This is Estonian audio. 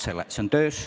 See on töös.